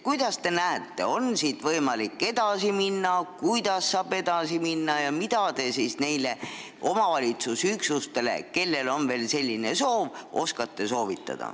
Kuidas teie arvates on võimalik edasi minna ja mida te oskate soovitada omavalitsusüksustele, kellel on veel selline soov?